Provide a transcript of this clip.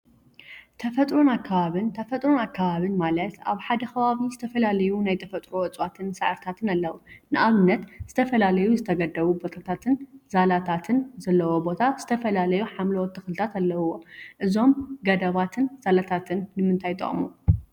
ተፈጥሮን አከባቢን ተፈጥሮን አከባቢን ማለት አብ ሓደ ከባቢ ዝተፈላለዩ ናይ ተፈጥሮ እፅዋትን ሳዕሪታትን አለው፡፡ ንአብነት ዝተፈላለዩ ዝተገደቡ ቦታታትን ዛላታትን ዘለዎ ቦታ ዝተፈላለዩ ሓምለዎት ተክልታት አለውዎ፡፡ እዞም ገደባትን ዛላታትን ንምንታይ ይጠቅሙ?